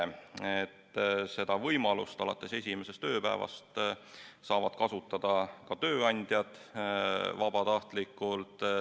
Võimalust hüvitada haiguspäevi alates esimesest tööpäevast saavad kasutada tööandjad ka vabatahtlikult.